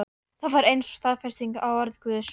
Það var eins og staðfesting á orði Guðs.